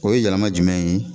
O ye yɛlɛma jumɛn ye ?